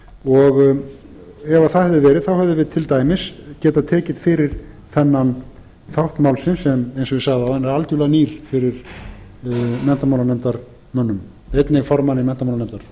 og ef það hefði verið hefðum við til dæmis getað tekið fyrir þennan þátt málsins sem eins og ég sagði áðan er algerlega nýr fyrir menntamálanefndarmönnum einnig háttvirtum formanni menntamálanefndar